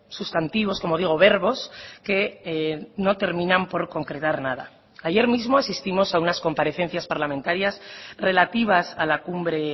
sustantivos como digo verbos que no terminan por concretar nada ayer mismo asistimos a unas comparecencias parlamentarias relativas a la cumbre